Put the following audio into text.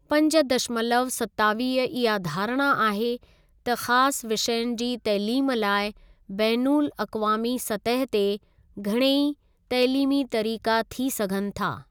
पंज दशमलव सतावीह इहा धारणा आहे त ख़ासि विषयनि जी तइलीम लाइ बैनुल अकवामी सतह ते घणेई तइलीमी तरीक़ा थी सघनि था।